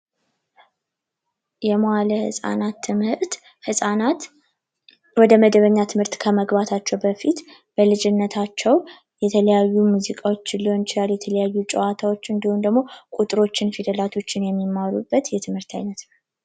የዋለ ህጻናት ትምህርት ህጻናት ወደ በኛ ትምህርት ከመግባታቸው በፊት በልጅነታቸው የተለያዩ ሙዚቃዎችን ሊሆን ይችላል ጨዋታዎችን እንዲሁም ቁጥሮችንና ፊደላቶችን የሚማሩበት ትምህርት ቤት አይነት ነው